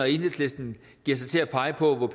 enhedslisten giver sig til at pege på